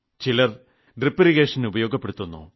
ചിലർ drip irrigation ഉപയോഗപ്പെടുത്തുന്നു